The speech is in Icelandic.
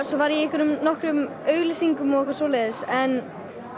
svo var ég í nokkrum auglýsingum og eitthvað svoleiðis en